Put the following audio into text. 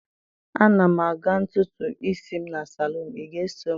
A na m aga ntutu isi m na salon, ị ga-eso m?